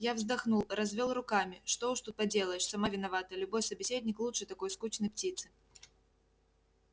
я вздохнул развёл руками что уж тут поделаешь сама виновата любой собеседник лучше такой скучной птицы